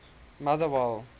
motherwell